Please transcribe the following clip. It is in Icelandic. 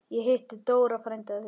Ég hitti Dóra frænda þinn.